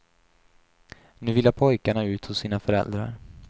Nu vilar pojkarna ut hos sina föräldrar.